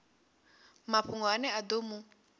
mafhungo ane a ḓo mu